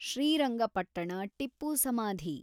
ಶ್ರೀರಂಗಪಟ್ಟಣ ಟಿಪ್ಪು ಸಮಾಧಿ